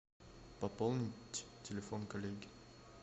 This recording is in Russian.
пополнить телефон коллеге